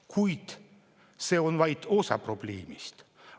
Kuid see on vaid osa probleemist.